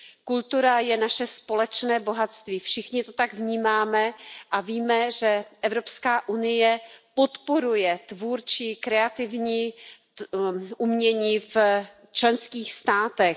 Kultura je naše společné bohatství, všichni to tak vnímáme a víme, že Evropská unie podporuje tvůrčí umění v členských státech.